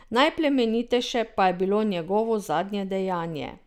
Najplemenitejše pa je bilo njegovo zadnje dejanje.